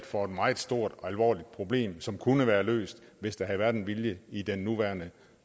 for et meget stort og alvorligt problem som kunne være løst hvis der havde været vilje i den nuværende